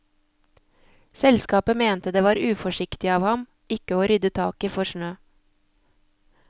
Selskapet mente det var uforsiktig av ham ikke å rydde taket for snø.